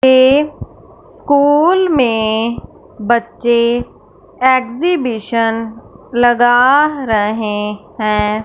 ये स्कूल में बच्चे एग्जिबिशन लगा रहे हैं।